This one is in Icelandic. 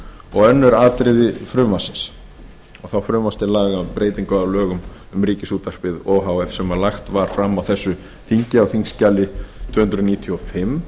og önnur atriði frumvarpsins og þá frumvarp til laga um breytingu á lögum um ríkisútvarpið o h f sem lagt var fram á þessu þingi á þingskjali tvö hundruð níutíu og fimm